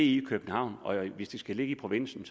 i københavn og hvis det skal ligge i provinsen